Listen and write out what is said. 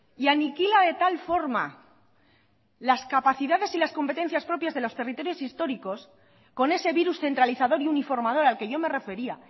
y aniquila de tal forma las capacidades y las competencias propias de los territorios históricos con ese virus centralizador y uniformador al que yo me refería